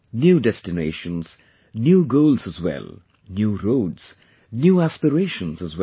New destinations, new goals as well, new roads, new aspirations as well